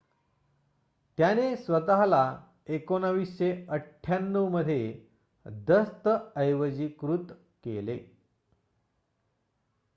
त्याने स्वत:ला 1998 दस्तऐवजीकृत केले